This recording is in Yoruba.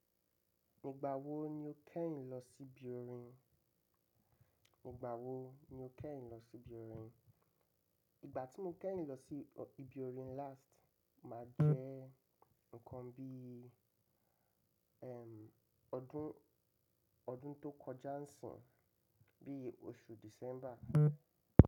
Igbà wó ni ó kẹ́yìn lo si ibi orin? Lọ si Ibi orin? Igbà tí mo kẹ́yìn lọ si Ibi orin last, mà jẹ́ nǹkan bíi odun tó kọjá ń sìnyi, bíi oṣù December.